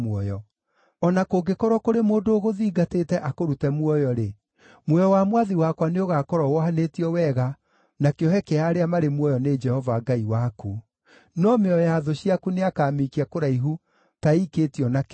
O na kũngĩkorwo kũrĩ mũndũ ũgũthingatĩte akũrute muoyo-rĩ, muoyo wa mwathi wakwa nĩũgakorwo wohanĩtio wega na kĩohe kĩa arĩa marĩ muoyo nĩ Jehova Ngai waku. No mĩoyo ya thũ ciaku nĩakamĩikia kũraihu ta ĩikĩtio na kĩgũtha.